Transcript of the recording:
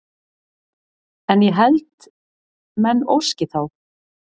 En ég held menn óski þá